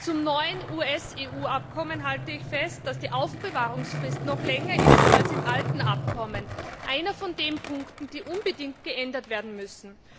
Zum neuen US EU Abkommen halte ich fest, dass die Aufbewahrungsfrist noch länger ist als im alten Abkommen einer von den Punkten, die unbedingt geändert werden müssen!